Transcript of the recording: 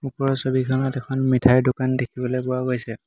ওপৰৰ ছবিখনত এখন মিঠাৰ দোকান দেখিবলৈ পোৱা গৈছে।